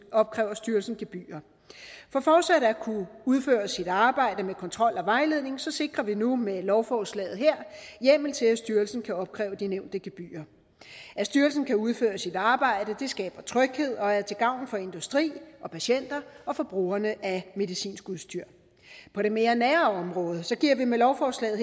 opkræver styrelsen gebyrer for fortsat at kunne udføre sit arbejde med kontrol og vejledning sikrer vi nu med lovforslaget hjemmel til at styrelsen kan opkræve de nævnte gebyrer at styrelsen kan udføre sit arbejde skaber tryghed og er til gavn for industri patienter og brugerne af medicinsk udstyr på det mere nære område giver vi med lovforslaget